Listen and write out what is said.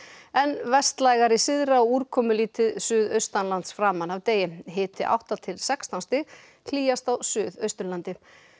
en vestlægari syðra og úrkomulítið suðaustanlands framan af degi hiti átta til sextán stig hlýjast á Suðausturlandi